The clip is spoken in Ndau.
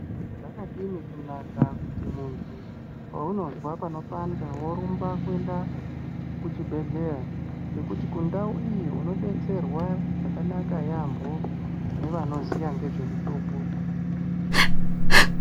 Zvakadini kunaka kuti muntu ,paunozwa panopanda worumba kuenda kuchibhedleya ngekuti kundau iyi unodetserwa zvakanaka yaambo nevanoziya nezve mitombo .